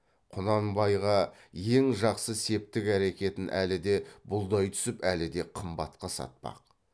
құнанбайға ең жақсы септік әрекетін әлі де бұлдай түсіп әлі де қымбатқа сатпақ